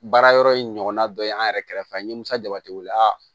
Baara yɔrɔ in ɲɔgɔnna dɔ ye an yɛrɛ kɛrɛfɛ n ye musa jabateya